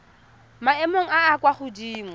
maemong a a kwa godimo